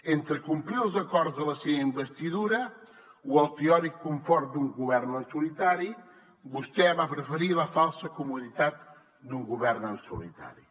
entre complir els acords de la seva investidura o el teòric confort d’un govern en solitari vostè va preferir la falsa comoditat d’un govern en solitari